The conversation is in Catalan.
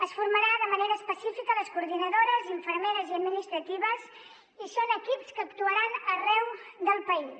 es formarà de manera específica les coordinadores infermeres i administratives i són equips que actuaran arreu del país